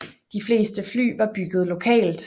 De fleste fly var bygget lokalt